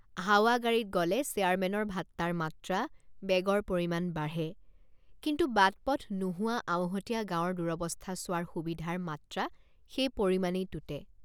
হাৱাগাড়ীত গলে চেয়াৰমেনৰ ভাট্টাৰ মাত্ৰা বেগৰ পৰিমাণ বাঢ়ে কিন্তু বাটপথ নোহোৱা আওহতীয়া গাঁৱৰ দুৰৱস্থা চোৱাৰ সুবিধাৰ মাত্ৰা সেই পৰিমাণেই টুটে।